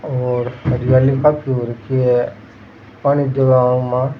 ओर हरियाली काफी हो रखी है पानी देवे आंके मा।